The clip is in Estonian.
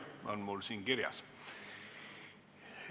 Nii on mul siin kirjas.